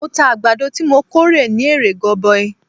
Mo ta àgbàdo tí mo kórè ní èrè goboi.